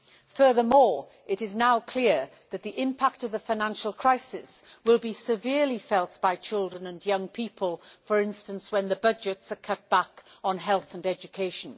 Furthermore, it is now clear that the impact of the financial crisis will be severely felt by children and young people, for instance when the budgets are cut back on health and education.